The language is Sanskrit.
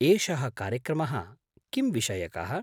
एषः कार्यक्रमः किंविषयकः?